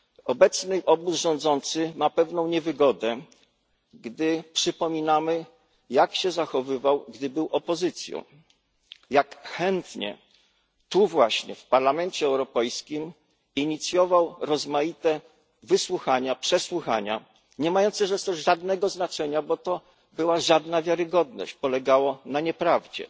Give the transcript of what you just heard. Obecny obóz rządzący ma pewną niewygodę, gdy przypominamy, jak się zachowywał, gdy był opozycją, jak chętnie tu właśnie, w Parlamencie Europejskim inicjował rozmaite wysłuchania, przesłuchania, niemające zresztą żadnego znaczenia, bo były niewiarygodne i polegały na nieprawdzie.